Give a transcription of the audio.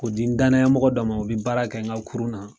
Ko di n danayamɔgɔ dɔ ma u bi baara kɛ n ka kurun na.